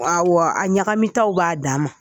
Awɔ a ɲagamitaw b'a dama.